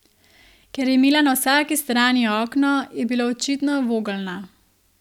Ker je imela na vsaki strani okno, je bila očitno vogelna.